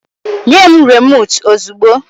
Nye m rimòtu ozugbo!